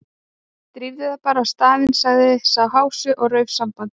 Drífðu þig bara á staðinn- sagði sá hási og rauf sambandið.